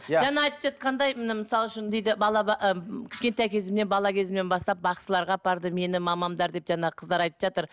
иә жаңа айтып жатқандай міне мысал үшін дейді бала ы кішкентай кезімнен бала кезімнен бастап бақсыларға апарды мені мамамдар деп жаңағы қыздар айтып жатыр